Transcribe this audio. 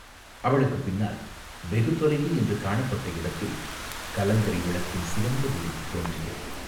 அவளுக்குப் பின்னால், வெகு தொலைவு என்று காணப்பட்ட இடத்தில், கலங்கரை விளக்கின் சிவந்த ஒளி தோன்றியது.